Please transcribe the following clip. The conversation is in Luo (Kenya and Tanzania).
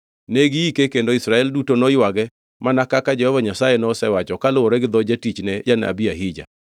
Ne giike kendo Israel duto noywage mana kaka Jehova Nyasaye nosewacho kaluwore gi dho jatichne janabi Ahija.